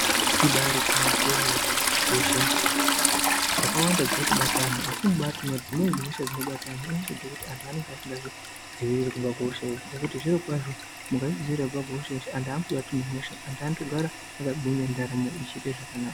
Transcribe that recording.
Imbari gwinyiso yemene hosha dzakawanda dziri kubata antu asi kubati dzimweni hosha dzirikubata hosha dzekuti antu anenge singazvidziviriri kubva kuhosha zvirokwazvo mukazvidzvivirira kubva ku hosha vantu vanogara vakagara wakagwinya ndaramo ichiita zvakanaka